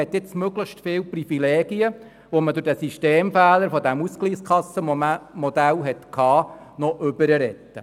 Wir wollen nun möglichst viele der Privilegien, welche durch den Systemfehler des Ausgleichskassenmodells aufgetaucht sind, retten.